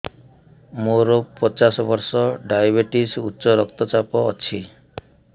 ମୋର ପଚାଶ ବର୍ଷ ଡାଏବେଟିସ ଉଚ୍ଚ ରକ୍ତ ଚାପ ଅଛି